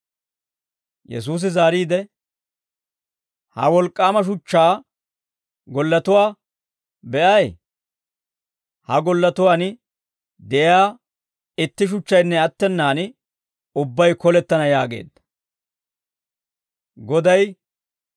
Yesuusi zaariide, «Ha wolk'k'aama shuchchaa gollatuwaa be'ay? Ha gollatuwaan de'iyaa itti shuchchaynne attenaan ubbay kolettana» yaageedda.